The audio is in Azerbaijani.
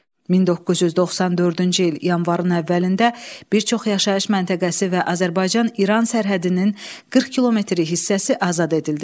1994-cü il yanvarın əvvəlində bir çox yaşayış məntəqəsi və Azərbaycan-İran sərhədinin 40 kilometr hissəsi azad edildi.